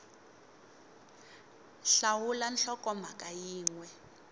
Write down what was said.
x hlawula nhlokomhaka yin we